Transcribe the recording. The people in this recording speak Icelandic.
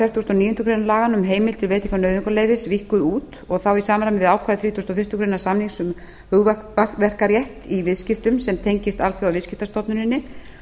fertugasta og níundu grein laganna um heimild til veitingar á nauðungarleyfi víkkuð út í samræmi við ákvæði þrítugustu og fyrstu grein samnings um hugverkarétt í viðskiptum sem tengist alþjóðaviðskiptastofnuninni